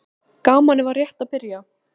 TRYGGVI: Gamanið var rétt að byrja.